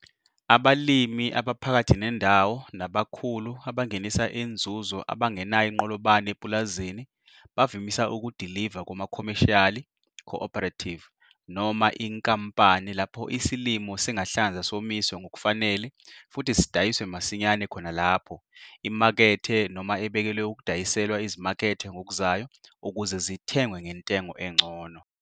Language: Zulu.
Abalimi abaphakathi nendawo nabakhulu abangenisa inzuzo abangenayo inqolobane epulazini bavamisa ukudiliva kuma-commercila co-operative noma inkampani lapho isilimo singahlanzwa somiswe ngokufanele futhi sidayiswe masinyane 'khona lapho' imakethe noma ebekelwe ukudayiselwa izimakethe ngokuzayo ukuze zithengwe ngentengo engcono.